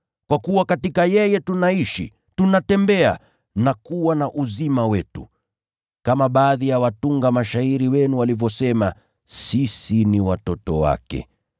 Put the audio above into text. ‘Kwa kuwa katika yeye tunaishi, tunatembea na kuwa na uzima wetu.’ Kama baadhi ya watunga mashairi wenu walivyosema, ‘Sisi ni watoto wake.’